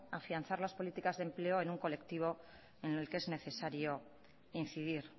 afianzar las políticas de empleo en un colectivo en el que es necesario incidir